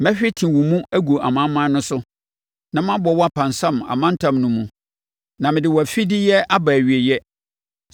Mɛhwete wo mu agu amanaman no so, na mabɔ wo apansam amantam no mu; na mede wo afideyɛ aba nʼawieeɛ.